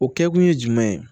O kɛkun ye jumɛn ye